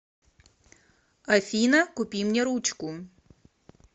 афина купи мне ручку